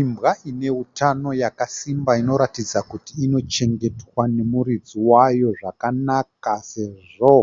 Imbwa ine hutano yakasimba inoratidza kuti inochengetwa nemuridzi wayo zvakanaka sezvo